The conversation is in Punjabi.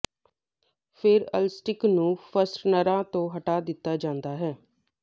ਫਿਰ ਅਲਸਟਿਕ ਨੂੰ ਫਸਟਨਰਾਂ ਤੋਂ ਹਟਾ ਦਿੱਤਾ ਜਾਂਦਾ ਹੈ